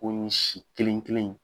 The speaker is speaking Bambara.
si kelen kelen in